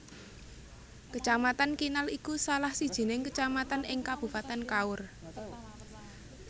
Kecamatan Kinal iku salah sijining kecamatan ing Kabupaten Kaur